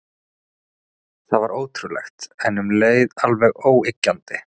Þetta var ótrúlegt, en um leið alveg óyggjandi.